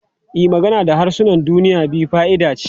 E, magana da harsunan duniya biyu fa'ida ce.